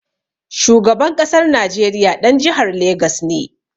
Shugaban ƙasar Najeriya ɗan jihar Legas ne.